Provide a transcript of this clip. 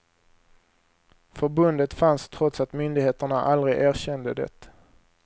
Förbundet fanns trots att myndigheterna aldrig erkände det.